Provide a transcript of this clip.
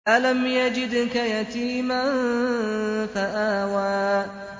أَلَمْ يَجِدْكَ يَتِيمًا فَآوَىٰ